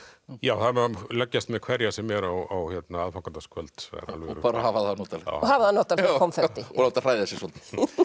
já það má leggjast með hverja sem er á aðfangadagskvöld og hafa það notalegt hafa það notalegt með konfekti og láta hræða sig svolítið